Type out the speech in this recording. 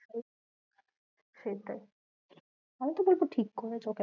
সেটাই ফালতু ফালতু ঠিক করে